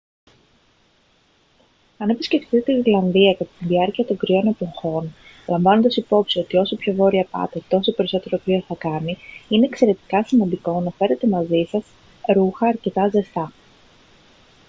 αν επισκεφτείτε τη γροιλανδία κατά τη διάρκεια των κρύων εποχών λαμβάνοντας υπόψη ότι όσο πιο βόρεια πάτε τόσο περισσότερο κρύο θα κάνει είναι εξαιρετικά σημαντικό να φέρετε μαζί σας ρούχα αρκετά ζεστά